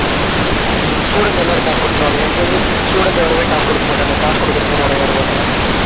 உம் உம் students எல்லாம் காசு கொடுத்துடுவானுங்க. எங்களுது students யாருமே காசு கொடுக்க மாட்டானுங்க. காசு கொடுக்குறதுக்கே